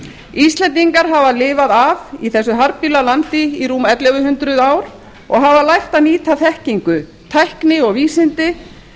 íslendingar hafa lifað af í þessu harðbýla landi í rúm ellefu hundruð ár og hafa lært að nýta þekkingu tækni og vísindi til